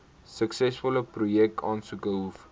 suksesvolle projekaansoeke hoef